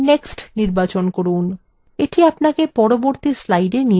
এটি আপনাকে পরবর্তী slide নিয়ে যাবে